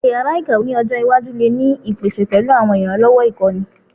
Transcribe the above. Awọn yara ikawe ni ojo iwaju le ni ipese pẹlu awọn iranlọwọ ikọni